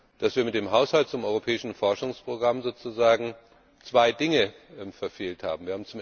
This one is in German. dass wir mit dem Haushalt zum europäischen Forschungsprogramm zwei Dinge verfehlt haben.